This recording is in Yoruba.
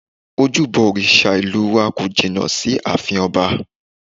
Ojúbọ òrìṣà ìlú wa kò jìnnà sí ààfin ọba